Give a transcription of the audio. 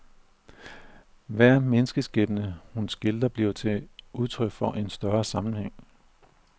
Hver menneskeskæbne, hun skildrer, bliver til udtryk for en større sammenhæng.